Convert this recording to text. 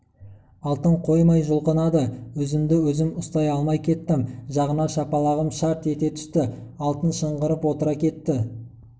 алтын қоймай жұлқынады өзімді-өзім ұстай алмай кеттім жағына шапалағым шарт ете түсті алтын шыңғырып отыра кетті